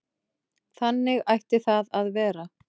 Þannig ætti það að vera.